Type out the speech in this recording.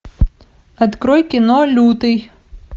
открой кино лютый